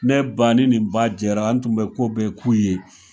Ne ba ni ba jɛra an tun bɛ ko bɛɛ k'u ye.